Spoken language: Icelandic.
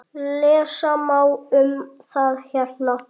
Lesa má um það hérna.